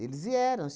Eles vieram.